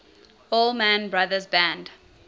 allman brothers band